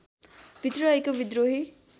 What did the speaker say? भित्र रहेको विद्रोही